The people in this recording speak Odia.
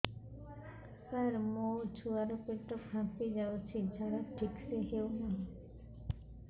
ସାର ମୋ ଛୁଆ ର ପେଟ ଫାମ୍ପି ଯାଉଛି ଝାଡା ଠିକ ସେ ହେଉନାହିଁ